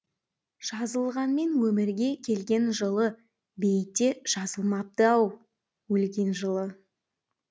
жазылғанмен өмірге келген жылы бейітте жазылмапты ау өлген жылы